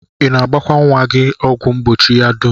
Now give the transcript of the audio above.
I na-agbakwa nnwa gị ọgwụ mgbochi ya dum?